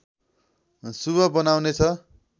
शुभ बनाउनेछ